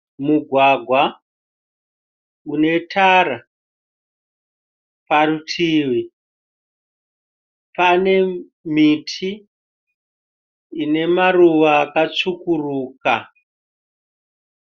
Mugwagwa une tara. Parutivi pane miti inemaruva akatsvukuruka.